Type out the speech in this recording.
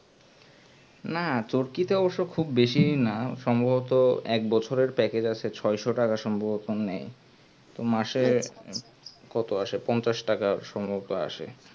না চরকি তে অবসহ বেশি না সম্ভবত একবছরের package আছে ছয়শো টাকা সম্ভবত নেয় তো মাসে কত আসে পঞ্চাশ টাকা সম্ভবত আসে